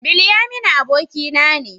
Bilyaminu abokina ne.